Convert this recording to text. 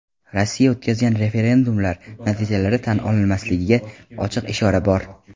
Rossiya o‘tkazgan "referendum"lar natijalari tan olinmasligiga ochiq ishora bor.